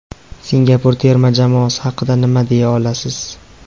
Singapur terma jamoasi haqida nima deya olasiz?